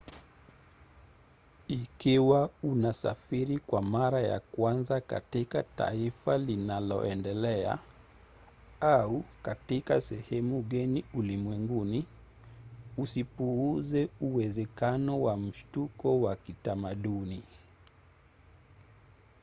ikiwa unasafiri kwa mara ya kwanza katika taifa linaoendelea – au katika sehemu geni ulimwenguni – usipuuze uwezekano wa mshtuko wa kitamaduni